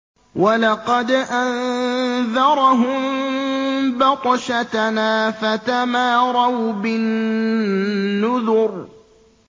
وَلَقَدْ أَنذَرَهُم بَطْشَتَنَا فَتَمَارَوْا بِالنُّذُرِ